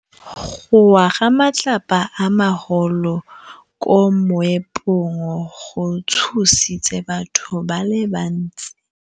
Go wa ga matlapa a magolo ko moepong go tshositse batho ba le bantsi.